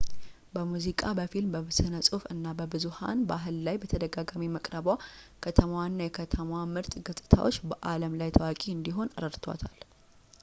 በሙዝቃ በፊልም በስነፅሁፍ እና በብዙሐን ባህል ላይ በተደጋጋሚ መቅረቧ ከተማዋንና የከተማዋን ምርጥ ገፅታዎች በአለም ላይ ታዋቂ እንዲሆን ረድቷታል